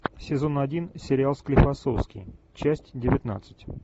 сезон один сериал склифосовский часть девятнадцать